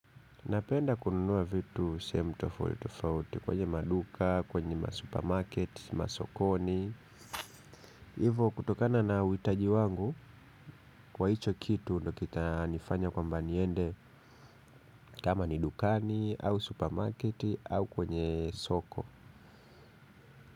Napenda kununua vitu sehemu tofauti tofauti kwenye maduka, kwenye masupermarket, masokoni. Hivo kutokana na uhitaji wangu kwa hicho kitu ndio kitanifanya kwamba niende kama ni dukani au supermarket au kwenye soko.